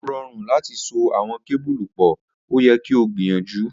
O rọrun lati so awọn kebulu pọ, o yẹ ki o gbiyanju.